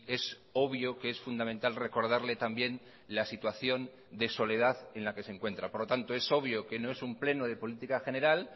es obvio que es fundamental recordarle también la situación de soledad en la que se encuentra por lo tanto es obvio que no es un pleno de política general